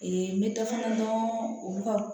n bɛ dɔ fana dɔn olu ka